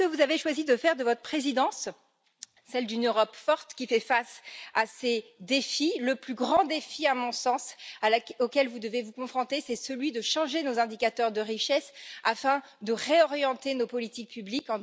Puisque vous avez choisi de faire de votre présidence celle d'une Europe forte qui fait face à ces défis, le plus grand défi auquel vous devez vous confronter c'est celui de changer nos indicateurs de richesse afin de réorienter nos politiques publiques.